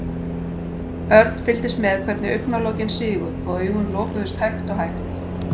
Örn fylgdist með hvernig augnalokin sigu og augun lokuðust hægt og hægt.